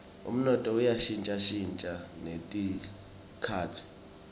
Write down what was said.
umnotfo uya shintjashintja netikhatsi